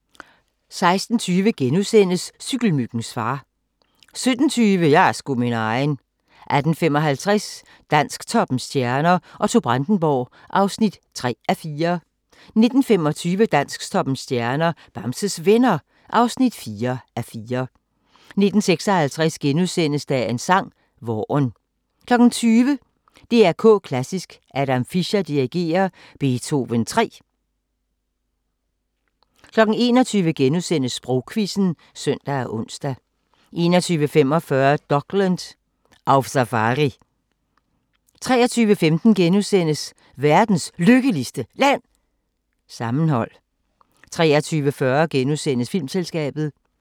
16:20: Cykelmyggens far * 17:20: Jeg er sgu min egen 18:55: Dansktoppens stjerner: Otto Brandenburg (3:4) 19:25: Dansktoppens stjerner: Bamses Venner (4:4) 19:56: Dagens sang: Vaaren * 20:00: DR K Klassisk: Adam Fischer dirigerer Beethoven 3. 21:00: Sprogquizzen *(søn og ons) 21:45: Dokland: Auf Safari 23:15: Verdens Lykkeligste Land? – Sammenhold * 23:40: Filmselskabet *